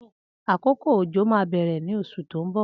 Akókó ójó mà bẹrẹ ni ọṣú tó n bọ